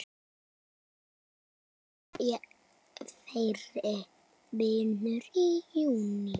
Lýkur þeirri vinnu í júní.